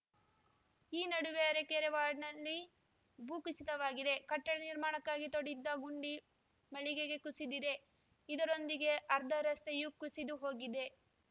ಈ ನಡುವೆ ಅರಕೆರೆ ವಾರ್ಡ್‌ನಲ್ಲಿ ಭೂಕುಸಿತವಾಗಿದೆ ಕಟ್ಟಡ ನಿರ್ಮಾಣಕ್ಕಾಗಿ ತೋಡಿದ್ದ ಗುಂಡಿ ಮಳಿಗೆಗೆ ಕುಸಿದಿದೆ ಇದರೊಂದಿಗೆ ಅರ್ಧ ರಸ್ತೆಯೂ ಕುಸಿದು ಹೋಗಿದೆ